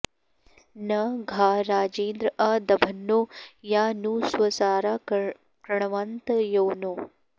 न घा॒ राजेन्द्र॒ आ द॑भन्नो॒ या नु स्वसा॑रा कृ॒णव॑न्त॒ योनौ॑